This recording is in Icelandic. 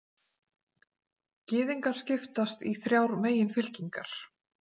gyðingar skipast í þrjár meginfylkingar